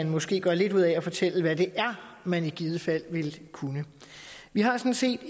måske gør lidt ud af at fortælle hvad det er man i givet fald vil kunne vi har sådan set